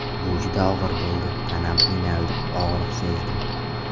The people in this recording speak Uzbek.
Bu juda og‘ir bo‘ldi, tanam qiynaldi, og‘riq sezdim.